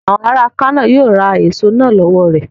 Àwọn ará Kano yíó ra èso náà lọ́wọ̀ rẹ..